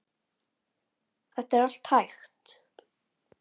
Þetta er allt hægt.